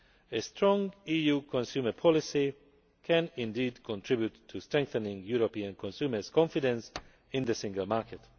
A strong EU consumer policy can indeed contribute to strengthening European consumer confidence in the single market.